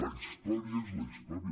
la història és la història